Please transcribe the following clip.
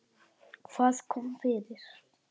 Hvað kom fyrir?